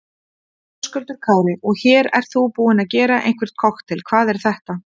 Höskuldur Kári: Og hér ert þú búinn að gera einhvern kokteil, hvað er þetta?